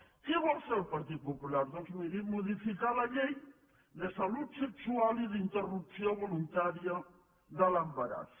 què vol fer el partit popular doncs miri modificar la llei de salut sexual i d’interrupció voluntària de l’embaràs